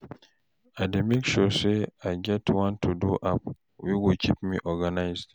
I dey make sure say I get one to-do app wey go kip me organised